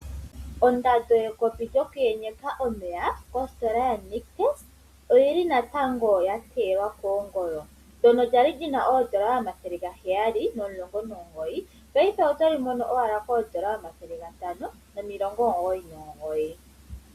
Ondando yekopi lyokuyenyeka omeya kositola yaNictus ooyili natango yateyelwa kongolo. Ndyono lyali lyina oodola omathele gaheyali nomulongo nomugoyi paife otoli mono owala koodola omathele gatano nomilongo omugoyi nomugoyi.